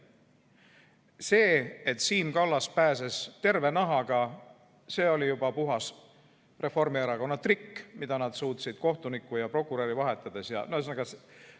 See, et Siim Kallas pääses terve nahaga, oli juba puhas Reformierakonna trikk, mida nad suutsid kohtunikku ja prokuröri vahetades.